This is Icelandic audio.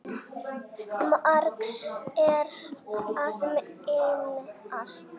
Margs er að minnast